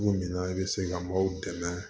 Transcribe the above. Dugu min na i bɛ se ka maaw dɛmɛ